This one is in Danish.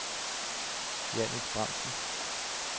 Jannick Bramsen